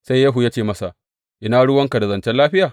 Sai Yehu ya ce masa, Ina ruwanka da zancen lafiya?